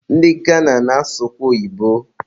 Ndị Gana na-asụkwa oyibo